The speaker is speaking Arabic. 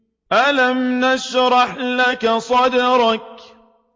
أَلَمْ نَشْرَحْ لَكَ صَدْرَكَ